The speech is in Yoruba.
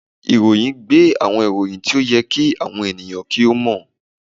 Ìròyìn gbé àwọn ìròyìn tí ó yẹ kí àwọn ènìyàn kí ó mọ̀